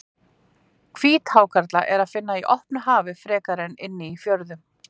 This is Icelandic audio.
Hvíthákarla er að finna á opnu hafi frekar en inni í fjörðum.